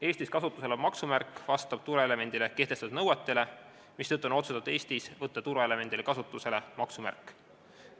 Eestis kasutusel olev maksumärk vastab turvaelemendile kehtestatud nõuetele, mistõttu on Eestis otsustatud võtta turvaelemendina kasutusele maksumärk.